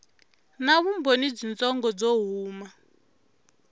na vumbhoni byitsongo byo huma